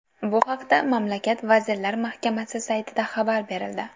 Bu haqda mamlakat vazirlar mahkamasi saytida xabar berildi .